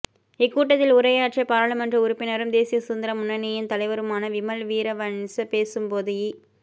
இக் கூட்டத்தில் உரையாற்றிய பாராளுமன்ற உறுப்பினரும் தேசிய சுதந்திர முன்னணியின் தலைவருமான விமல் வீரவன்ச பேசும்போதுஇ